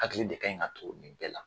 Hakili de ka ɲi ka turu nin bɛɛ la